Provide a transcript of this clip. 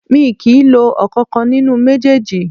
Mi kì í lo ọ̀kankan nínú méjèèjì